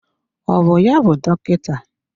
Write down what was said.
Ọ bụ ya bụ dọkịta?